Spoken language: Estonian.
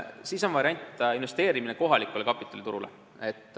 On veel variant investeerida kohalikule kapitaliturule.